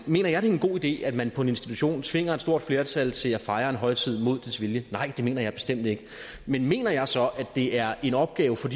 mener jeg det er en god idé at man på en institution tvinger et stort flertal til at fejre en højtid mod dets vilje nej det mener jeg bestemt ikke men mener jeg så at det er en opgave for